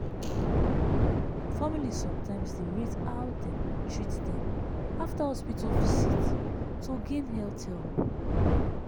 family sometimes dey rate how dem treat dem after hospital visit to gain health help.